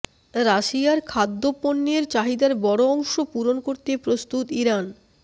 রাশিয়ার খাদ্যপণ্যের চাহিদার বড় অংশ পূরণ করতে প্রস্তুত ইরান